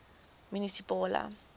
munisipale gop